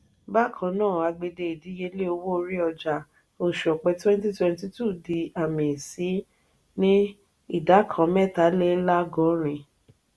bákannáà àgbède ìdíyelé owó orí-ọjà osù ọpẹ twenty twenty two dí àmì sí ní ìdá kàn mẹta-le-lagorin.